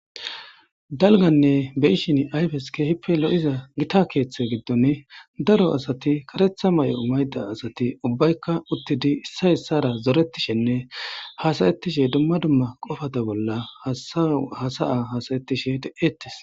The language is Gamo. dalganne beyishin ayfes keehippe lo7iza gita keeththe giddon daro asati karetha may7o mayda asati ubbaykka uttidi issa issara zoretishenne hasayettishe dumma dumma qofata bolla hasa7a hasayettishe de7ettes